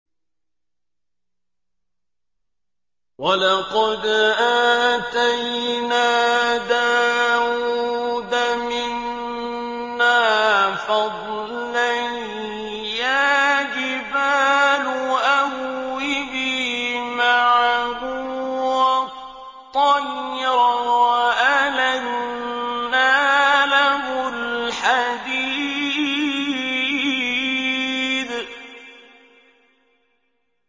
۞ وَلَقَدْ آتَيْنَا دَاوُودَ مِنَّا فَضْلًا ۖ يَا جِبَالُ أَوِّبِي مَعَهُ وَالطَّيْرَ ۖ وَأَلَنَّا لَهُ الْحَدِيدَ